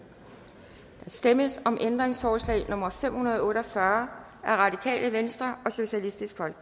der stemmes om ændringsforslag nummer fem hundrede og otte og fyrre af rv